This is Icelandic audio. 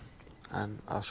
en að